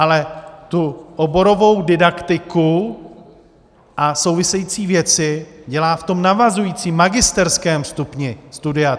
Ale tu oborovou didaktiku a související věci dělá v tom navazujícím magisterském stupni studia.